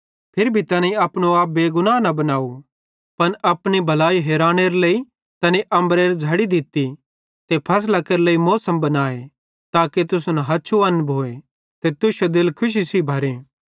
फिरी भी तैनी अपनो आप बेगवाह न बनाव पन अपनी भलाई हेरानेरे लेइ तैनी अम्बरेरां झ़ड़ी दित्ती ते फसलां केरे लेइ मौसम बनाए ताके तुसन हछु अन भोए ते तुश्शे दिल खुशी सेइं भरे